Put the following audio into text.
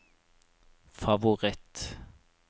favoritt